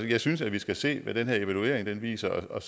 jeg synes at vi skal se hvad den her evaluering viser og